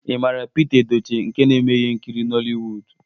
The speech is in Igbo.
Ị mara Pita Edochie nke na-eme ihe nkiri Nollywood?